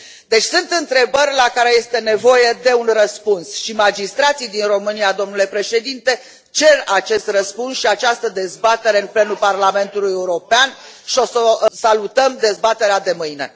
Deci sunt întrebări la care este nevoie de un răspuns și magistrații din România, domnule președinte, cer acest răspuns și această dezbatere în plenul Parlamentului European și salutăm dezbaterea de mâine.